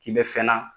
K'i bɛ fɛn na